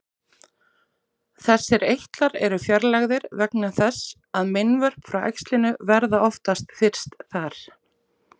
Þessir eitlar eru fjarlægðir vegna þess að meinvörp frá æxlinu verða oftast fyrst þar.